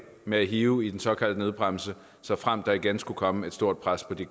med at hive i den såkaldte nødbremse såfremt der igen skulle komme et stort pres på de